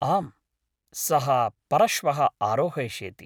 आम्, सः परश्वः आरोहयिष्यति।